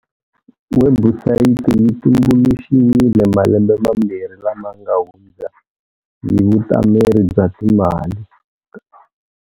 Webusayiti yi tumbuluxiwile malembe mambirhi lama nga hundza hi Vutameri bya Timali ta.